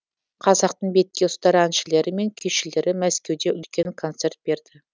қазақтың бетке ұстар әншілері мен күйшілері мәскеуде үлкен концерт берді